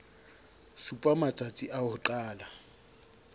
supa matstasi a ho qala